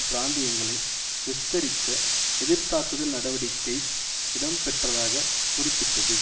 பிராந்தியங்களை விஸ்தரிக்க எதிர் தாக்குதல் நடவடிக்கை இடம்பெற்றதாகக் குறிப்பிட்டது